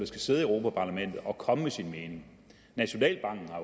skal sidde i europa parlamentet at komme med sin mening nationalbanken har